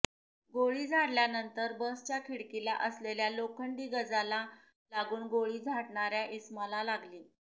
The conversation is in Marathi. गोळी झाडल्यानंतर बसच्या खिडकीला असलेल्या लोखंडी गजला लागून गोळी झाडणाऱ्या इसमाला लागली